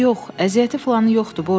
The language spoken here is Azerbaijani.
Yox, yox, əziyyəti filanı yoxdur.